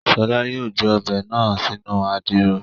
Ṣọlá yóò gbé Ọbẹ̀ náà sínú Àdìrò